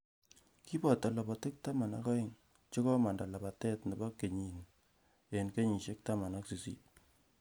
Kiboto lapatik taman ak aeng che komanda lapatet nebo kenyini eng kenyisiek taman ak sisit